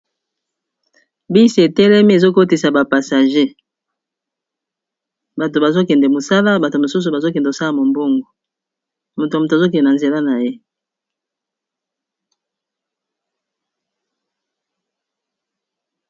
Bus e telemi ezo kotisa ba passagers, batu bazo kende mosala, batu mosusu bazo kende lo sala mombongo. Moto na moto azo kende na nzela na ye .